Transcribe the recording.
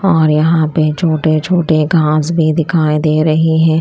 और यहां पे छोटे छोटे घांस भी दिखाई दे रही है।